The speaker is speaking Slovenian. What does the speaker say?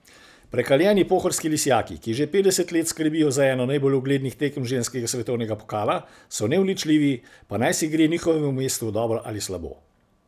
Prekaljeni pohorski lisjaki, ki že petdeset let skrbijo za eno najbolj uglednih tekem ženskega svetovnega pokala, so neuničljivi, pa najsi gre njihovemu mestu dobro ali slabo.